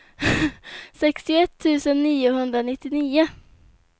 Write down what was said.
sextioett tusen niohundranittionio